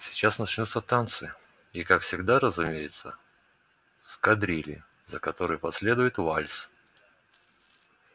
сейчас начнутся танцы и как всегда разумеется с кадрили за которой последует вальс